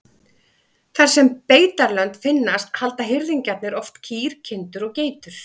Þar sem beitarlönd finnast halda hirðingjarnir oft kýr, kindur og geitur.